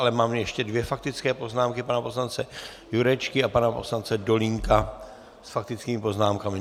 Ale mám ještě dvě faktické poznámky: pana poslance Jurečky a pana poslance Dolínka s faktickými poznámkami.